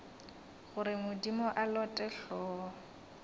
gore modimo a lote hlogo